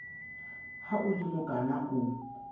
ha o le mokana o